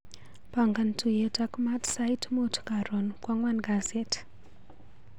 Pangan tuiyet ak Matt sait mut karon kwang'an kasit.